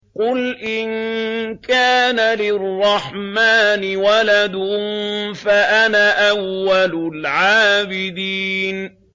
قُلْ إِن كَانَ لِلرَّحْمَٰنِ وَلَدٌ فَأَنَا أَوَّلُ الْعَابِدِينَ